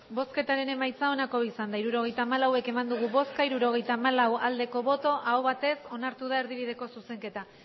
hirurogeita hamalau eman dugu bozka hirurogeita hamalau bai aho batez onartu da erdibideko zuzenketa